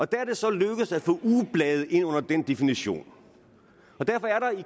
der er det så lykkedes at få ugeblade ind under den definition derfor er